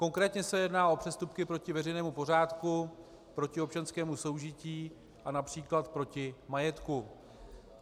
Konkrétně se jedná o přestupky proti veřejnému pořádku, proti občanskému soužití a například proti majetku.